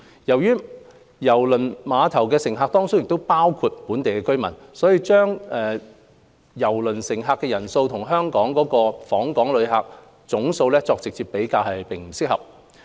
由於郵輪碼頭的乘客當中包括本地居民，把郵輪乘客人數和訪港旅客總數作直接比較，並不合適。